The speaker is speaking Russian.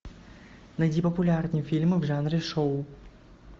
найди популярные фильмы в жанре шоу